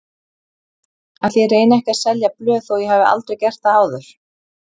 Ætli ég reyni ekki að selja blöð þó ég hafi aldrei gert það áður.